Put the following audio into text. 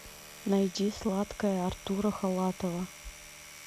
найди сладкая артура халатова